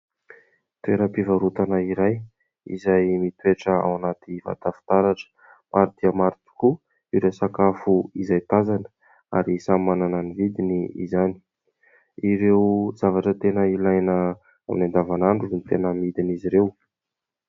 Toeram-pivarotana iray izay mitoetra ao anaty vata fitaratra. Maro dia maro tokoa ireo sakafo izay tazana ary samy manana ny vidiny izany. Ireo zavatra tena ilaina amin'ny andavanandro no tena amidin'izy ireo.